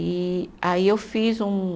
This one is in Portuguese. E aí eu fiz um